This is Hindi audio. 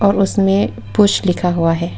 और उसमें पुश लिखा हुआ है।